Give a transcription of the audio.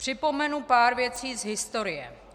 Připomenu pár věcí z historie.